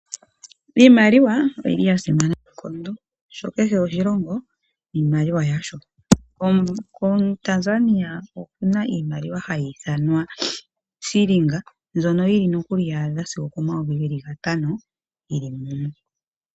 Iimaliwa oyili ya simana noonkondo oshoka sho kehe oshilongo niimaliwa yasho. KoTanzania okuna iimaliwa hayi ithanwa fiilinga mbyono yili nokuli ya a dha sigo okomayovi gantano yili mumwe.